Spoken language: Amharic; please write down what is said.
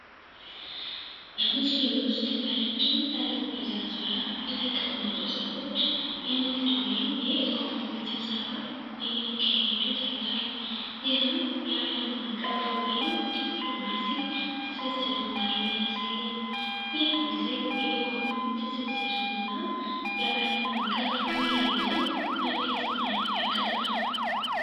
በምስሉ ውስጥ በረጅም ጠረጴዛ ዙሪያ የተቀመጡ ሰዎች የንግድ ወይም የኢኮኖሚ ስብሰባ እየካሄዱ ታይቷል። ይህም የአለም አቀፍ ወይም ዲፕሎማሲ ትስስር እንዳለ ያሳያል። ይህ ምስል የኢኮኖሚ ትስስርን እና የአለም አቀፍ ውይይትን በግልጽ መልኩ ያቀርባል።